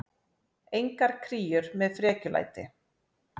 Engar kríur með frekjulæti.